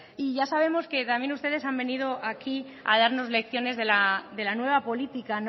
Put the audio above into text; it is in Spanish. y ya sabemos que también ustedes han venido aquí a darnos lecciones de la nueva política